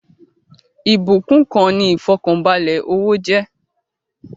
Ìbúkún kan ni ifọkanbalẹ owó jẹ́